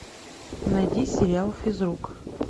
найди сериал физрук